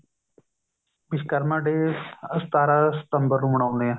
Vishwakarma day ਸਤਾਰਾਂ ਸਤੰਬਰ ਨੂੰ ਮਨਾਉਣੇ ਆ